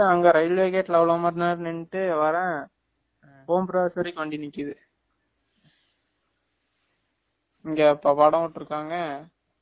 அங்க railway gate அவளோ மணி நேரம் நின்னுட்டு வறேன் home board வரைக்கும் வண்டி நிக்குது இங்க படம் போட்டுருக்காங்க